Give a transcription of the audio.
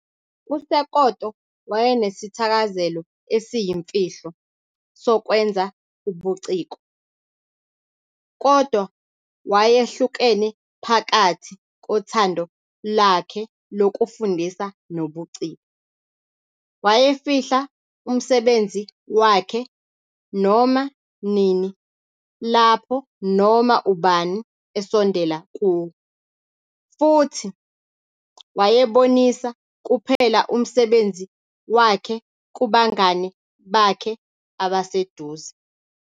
USekoto wayenesithakazelo esiyimfihlo sokwenza ubuciko, kodwa wayehlukene phakathi kothando lwakhe lokufundisa nobuciko. Wayefihla umsebenzi wakhe noma nini lapho noma ubani esondela kuwo, futhi wayebonisa kuphela umsebenzi wakhe kubangane bakhe abaseduze.